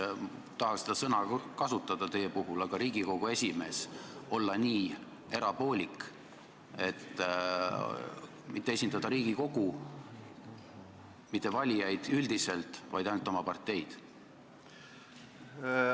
Ma ei taha seda sõna teie puhul kasutada, aga kuidas saab Riigikogu esimees olla nii erapoolik ja mitte esindada Riigikogu, mitte valijaid üldiselt, vaid ainult oma parteid?